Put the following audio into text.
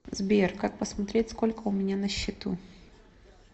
сбер как посмотреть сколько у меня на счету